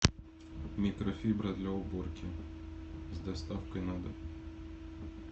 микрофибра для уборки с доставкой на дом